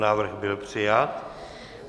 Návrh byl přijat.